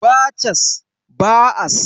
Ba cas, ba as